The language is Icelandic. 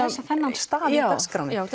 þennan stað í dagskránni já